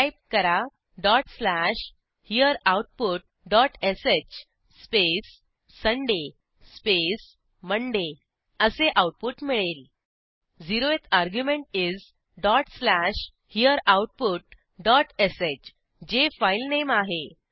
type करा dot slash here output dot sh space Sunday space Monday असे output मिळेल 0थ argument is dot slash here output dot sh जे filename आहे